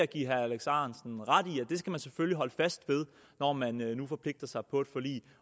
give herre alex ahrendtsen ret i at det skal man selvfølgelig holde fast ved når man nu forpligter sig på et forlig